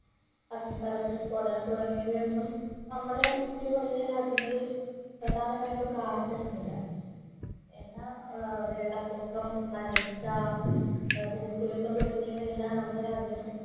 അഗ്നിപർവ്വത സ്ഫോടനം തുടങ്ങിയവ ഒന്നും നമ്മുടെ ഇന്ത്യ പോലുള്ള രാജ്യങ്ങളിൽ പ്രധാനമായിട്ടും കാണപ്പെടുന്നില്ല എന്നാൽ ഏർ വെള്ളപ്പൊക്കം വരൾച്ച ഭൂമികുലുക്കം തുടങ്ങിയവ എല്ലാം നമ്മുടെ രാജ്യങ്ങളി